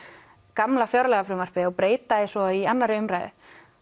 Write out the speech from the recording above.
gamla fjárlagafrumvarpið og breyta því svo í annarri umræðu